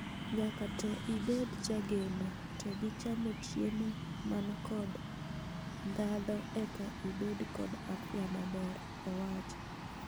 "Nyaka to ibed jageno to gi chamo chiemo man kod ndhadho eka ibed kod afya maber,: owacho.